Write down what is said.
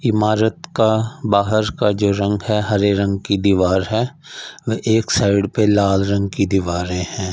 इमारत का बाहर का जो रंग है हरे रंग की दीवार है और एक साइड पे लाल रंग की दीवारें हैं।